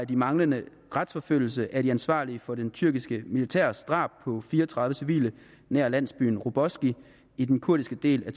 den manglende retsforfølgelse af de ansvarlige for det tyrkiske militærs drab på fire og tredive civile nær landsbyen roboski i den kurdiske del af